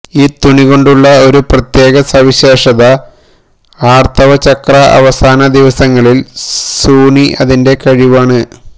ഈ തുണികൊണ്ടുള്ള ഒരു പ്രത്യേക സവിശേഷത ആർത്തവ ചക്രം അവസാന ദിവസങ്ങളിൽ സുണീ അതിന്റെ കഴിവാണ്